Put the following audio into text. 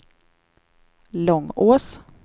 Långås